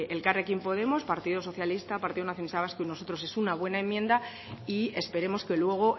elkarrekin podemos partido socialista partido nacionalista vasco y nosotros es una buena enmienda y esperemos que luego